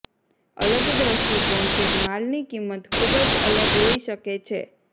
અલગ દ્રષ્ટિકોણથી જ માલની કિંમત ખૂબ જ અલગ હોઈ શકે છે